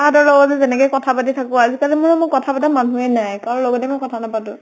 তা হঁতৰ লগত যেনেকে কথা পাতি থাকো, আজি কালি মোৰ ম কথা পাতা মানুহেই নাই। কাৰো লগতে মই কথা নাপাতো।